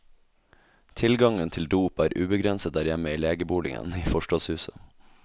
Tilgangen til dop er ubegrenset der hjemme i legeboligen i forstadshuset.